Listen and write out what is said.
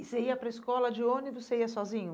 E você ia para a escola de ônibus, você ia sozinho?